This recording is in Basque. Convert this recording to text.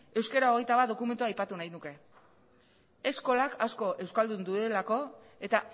euskara hogeita bat dokumentua aipatu nahi nuke eskolak asko euskaldundu duelako eta